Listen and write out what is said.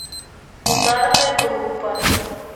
ударная группа